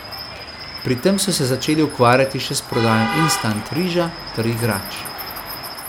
Pri tem so se začeli ukvarjati še s prodajo instant riža ter igrač.